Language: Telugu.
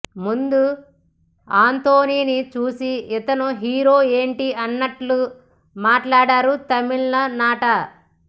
ముందు ఆంటోనీని చూసి ఇతను హీరో ఏంటి అన్నట్లు మాట్లాడారు తమిళనాట